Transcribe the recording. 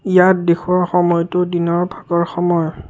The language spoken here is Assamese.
ইয়াত দেখুওৱা সময়তো দিনৰ ভাগৰ সময়।